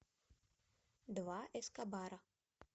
два эскобара